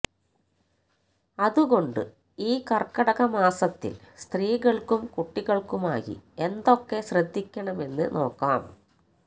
അതുകൊണ്ട് ഈ കര്ക്കടകമാസത്തില് സ്ത്രീകള്ക്കും കുട്ടികള്ക്കുമായി എന്തൊക്കെ ശ്രദ്ധിക്കണമെന്ന് നോക്കാം